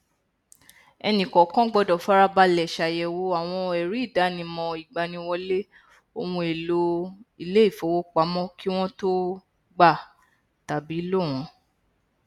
ẹnìkọọkan gbọdọ farabalẹ ṣàyẹwò àwọn ẹríìdánimọ ìgbaniwọlé ohunèlò ilé ìfowópamọ kí wọn tó gbà tàbí lò wọn